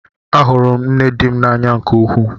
Ahụrụ m nne di m n'anya nke ukwuu.